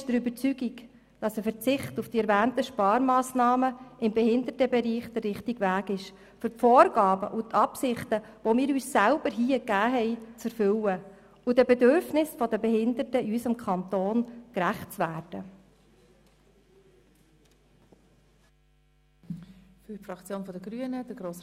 Ein Verzicht auf die erwähnten Sparmassnahmen im Behindertenbereich ist der richtige Weg, um die Vorgaben und Absichten, die wir uns selber hier gegeben haben, zu erfüllen und den Bedürfnissen der Behinderten in unserem Kanton gerecht zu werden.